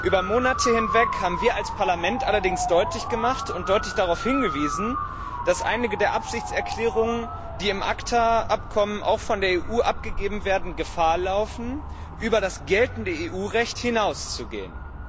Über Monate hinweg haben wir als Parlament allerdings deutlich gemacht und deutlich darauf hingewiesen, dass einige der Absichtserklärungen, die im ACTA Abkommen auch von der EU abgegeben werden, Gefahr laufen, über das geltende EU Recht hinauszugehen.